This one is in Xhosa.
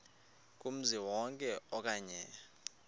kumzi wonke okanye